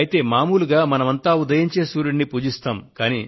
అయితే మామూలుగా మనమంతా ఉదయించే సూర్యుడిని పూజిస్తాం